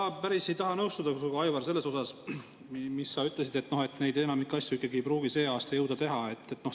Ma päris ei taha nõustuda sinuga, Aivar, selles osas, mis sa ütlesid, et enamikku asju ikkagi ei pruugi sel aastal jõuda teha.